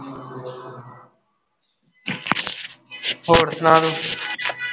ਹੋਰ ਸੁਣਾ ਤੂੰ।